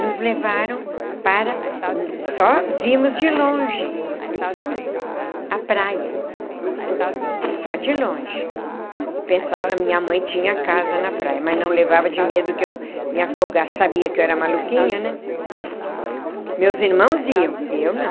nos levaram para... só vimos de longe... a praia... Uhum. Só de longe... e pensar que a minha mãe tinha casa na praia... mas não levava de medo que eu me afogasse... sabia que eu era maluquinha né... meus irmãos iam... eu não.